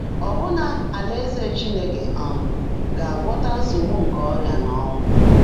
Ọ́bụ́ná, Álãézè Chínekè um gá-ágwọ́tá nsógbú nkè ọ́rị́á nà ọ́ńwụ́.